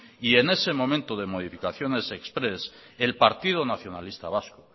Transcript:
y en ese momento de modificaciones express